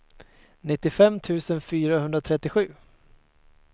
nittiofem tusen fyrahundratrettiosju